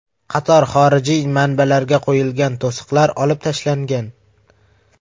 Qator xorijiy manbalarga qo‘yilgan to‘siqlar olib tashlangan.